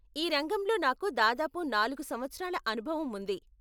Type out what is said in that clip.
ఈ రంగంలో నాకు దాదాపు నాలుగు సంవత్సరాల అనుభవం ఉంది.